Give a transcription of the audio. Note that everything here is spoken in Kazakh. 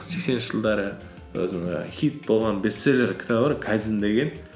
сексенінші жылдары өзінің і хит болған бестселлер кітабы бар кайдзен деген